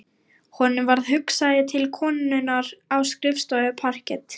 Honum varð hugsað til konunnar á skrifstofu parkett